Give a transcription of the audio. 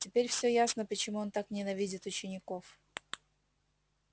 теперь всё ясно почему он так ненавидит учеников